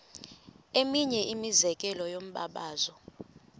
eminye imizekelo yombabazo